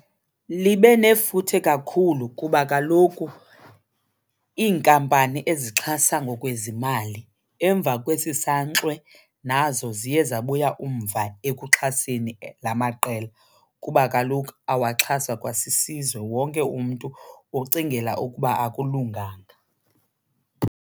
Libe nefuthe kakhulu kuba kaloku iinkampani ezixhasa ngokwezimali emva kwesi sankxwe nazo ziye zabuya umva ekuxhaseni la maqela kuba kaloku awaxhaswa kwasisizwe, wonke umntu ucingela ukuba akulunganga.